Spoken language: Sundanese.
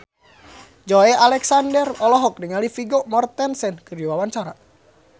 Joey Alexander olohok ningali Vigo Mortensen keur diwawancara